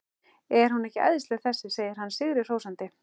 Er hún ekki æðisleg þessi? segir hann sigri hrósandi.